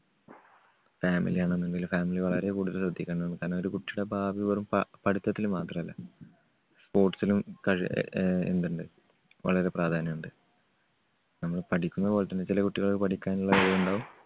family ആണെന്നുണ്ടെങ്കിലും family വളരെ കൂടുതൽ ശ്രദ്ധിക്കേണ്ടതാണ്. കാരണം ഒരു കുട്ടിടെ ഭാവി വെറും പ~പഠിത്തത്തിൽ മാത്രല്ല. sports ലും കഴി എ എന്തുണ്ട് വളരെ പ്രാധാന്യം ഉണ്ട്. നമ്മൾ പഠിക്കുന്നതുപോലെതന്നെ ചില കുട്ടികൾ പഠിക്കാനുള്ള കഴിവുണ്ടാവും.